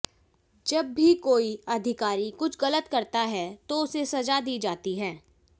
जब भी कोई अधिकारी कुछ गलत करता है तो उसे सजा दी जाती है